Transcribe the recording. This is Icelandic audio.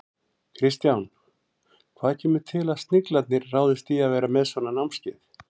Kristján, hvað kemur til að Sniglarnir ráðist í að vera með svona námskeið?